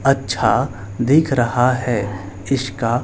अच्छा दिख रहा है इसका--